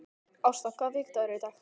Ásta, hvaða vikudagur er í dag?